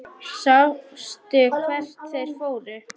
Sástu hvert þeir fóru?